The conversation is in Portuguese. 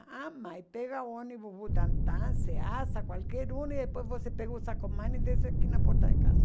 Ah, mãe, pega o ônibus, qualquer um, e depois você pega o e desce aqui na porta de casa.